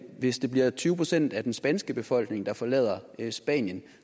hvis det bliver tyve procent af den spanske befolkning der forlader spanien